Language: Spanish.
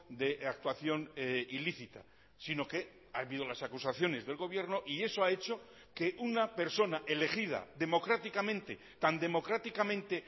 de actuación ilícita sino que ha habido las acusaciones del gobierno y eso ha hecho que una persona elegida democráticamente tan democráticamente